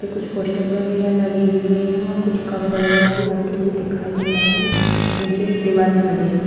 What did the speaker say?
पे कुछ पोस्टर वैगरा लगे हुए है और कुछ कप वैगरा भी रखे हुए दिखाई दे रहे हैं नीचे एक दीवाल दिखाई दे रही --